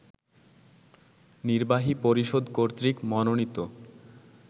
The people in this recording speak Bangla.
নির্বাহী পরিষদ কর্তৃক মনোনীত